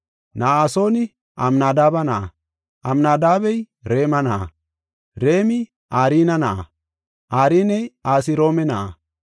Na7asooni Amnadaabe na7a, Amnadaabey Raame na7a, Raamey Arne na7a, Arney Asroome na7a,